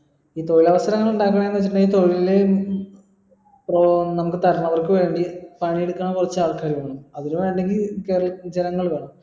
ഈ തൊഴിലവസരങ്ങൾ ഇണ്ടാകണത് എന്ന് വെച്ചിട്ടിണ്ടേൽ ഈ തൊഴിൽ ഏർ നമ്മടെ വേണ്ടി അതിന് വേണ്ടെങ്കിൽ ജനങ്ങളെ വേണം